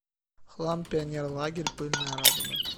хлам пионерлагерь пыльная радуга